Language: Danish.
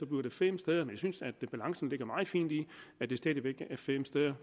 det fem steder men jeg synes at balancen ligger meget fint i at det stadig væk er fem steder